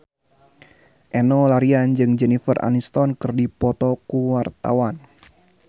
Enno Lerian jeung Jennifer Aniston keur dipoto ku wartawan